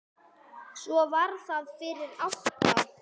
Svo var það fyrir átta.